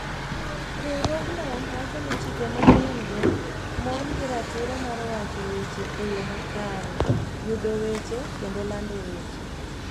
Riwruogno wacho ni chike manyien-go mon gi ratiro mar wacho weche e yo makare, yudo weche, kendo lando weche.